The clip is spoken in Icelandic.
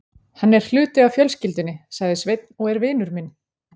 Hann er hluti af fjölskyldunni, sagði Sveinn, og er vinur minn.